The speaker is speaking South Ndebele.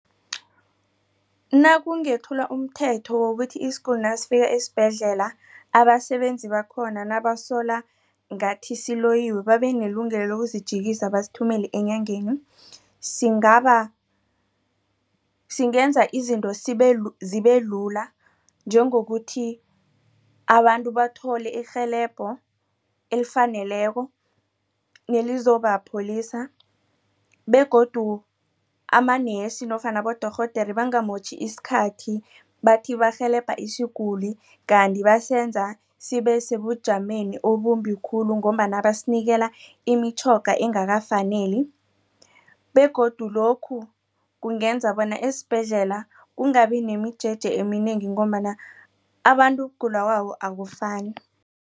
Nakungethulwa umthetho wokuthi isiguli nasifika esibhedlela abasebenzi bakhona nabasola ngathi siloyiwe babenelungelo lokuzijikisa basithumele enyangeni. Singaba singenza izinto zibelula njengokuthi abantu bathole irhelebho elifaneleko nelizopholisa begodu amanesi nofana abodorhodera bangamotjhi isikhathi bathi barhelebha isiguli. Kanti basenza sibesebujameni obumbi khulu ngombana basinikela imitjhoga engakafaneli begodu lokhu kungenza bona esibhedlela kungabinemijeje eminengi ngombana abantu ukugula kwabo akufani.